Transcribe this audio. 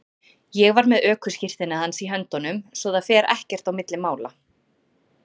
Ég var með ökuskírteinið hans í höndunum svo að það fer ekkert á milli mála.